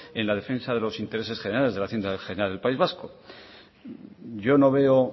en la defensa de los intereses generales de la hacienda general del país vasco yo no veo